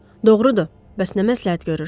Doğrudur, bəs nə məsləhət görürsüz?